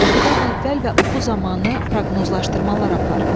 Oxudan əvvəl və oxu zamanı proqnozlaşdırmalar apar.